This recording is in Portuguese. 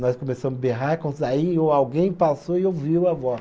Nós começamos berrar, aí o alguém passou e ouviu a voz.